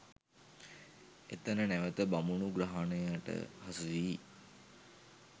එතැන නැවත බමුණු ග්‍රහණයට හසු වී